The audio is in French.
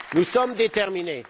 Nous sommes déterminés.